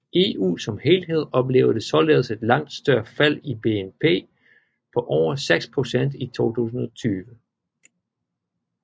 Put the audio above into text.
EU som helhed oplevede således et langt større fald i BNP på over 6 procent i 2020